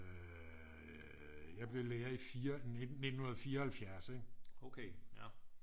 Jeg blev lærer i 4 i 1974 ikke